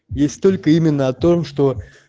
есть только именно о том что